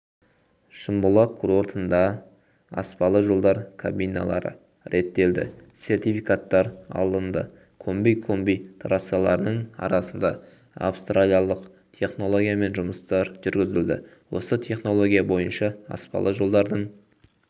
шымбұлақ курортынгда аспалы жолдар кабиналары реттелді сертификаттар алынды комби комби трассаларының арасына австриялық технологиямен жұмыстар жүргізілді осы технология бойынша аспалы жолдардың